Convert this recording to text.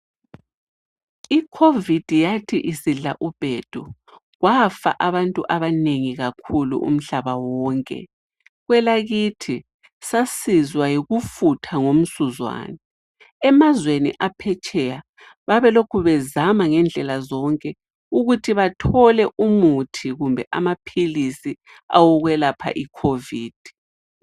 I COVID yathi isidla ubhedu, kwafa abantu abanengi kakhulu umhlaba wonke. Kwelakithi sasizwa yikufutha ngomsuzwane. Emazweni aphetsheya babelokhu bezama ngendlela zonke ukuthi bathole umuthi kumbe amaphilisi awokwelapha iCOVID.